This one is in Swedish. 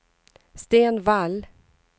Sten Wall